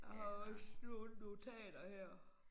Og også nogle notater her